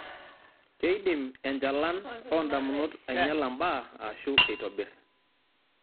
Keidim enchalan oondamunot ainyala mbaa aashu eitobirr.